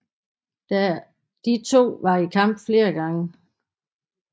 De to var i kamp flere gange